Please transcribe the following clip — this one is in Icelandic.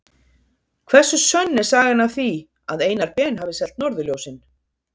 Hversu sönn er sagan af því að Einar Ben hafi selt norðurljósin?